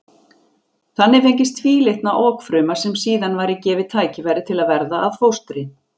Þannig fengist tvílitna okfruma sem síðan væri gefið tækifæri til að verða að fóstri.